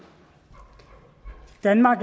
danmark